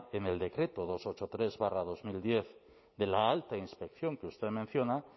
en el decreto doscientos ochenta y tres barra dos mil diez de la alta inspección que usted menciona